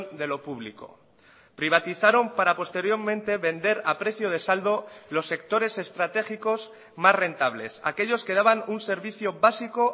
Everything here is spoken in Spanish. de lo público privatizaron para posteriormente vender a precio de saldo los sectores estratégicos más rentables aquellos que daban un servicio básico